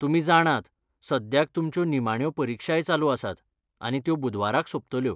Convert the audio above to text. तुमी जाणात, सद्याक तुमच्यो निमाण्यो परीक्षाय चालू आसात आनी त्यो बुधवाराक सोंपतल्यो.